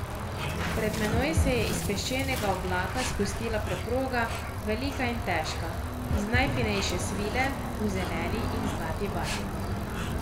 Pred menoj se je iz peščenega oblaka spustila preproga, velika in težka, iz najfinejše svile, v zeleni in zlati barvi.